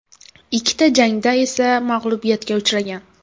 Ikkita jangda esa mag‘lubiyatga uchragan.